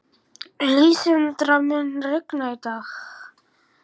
Lísandra, mun rigna í dag?